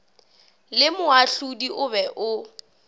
le moahlodi o be o